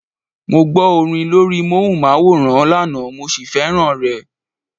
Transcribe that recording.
Mo gbọ́ orin lórí móhùnmáwòrán lánàá mo sì fẹ́ràn rẹ̀.